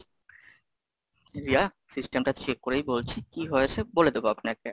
Riya, System টা check করেই বলছি, কি হয়েছে? বলে দেব আপনাকে।